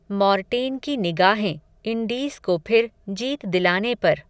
Mortein की निगाहें, Indies को फिर, जीत दिलाने पर